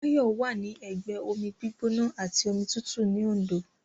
Báyọ̀ wà ní ẹgbẹ́ omi gbígbóná àti omi tútù ní Òndó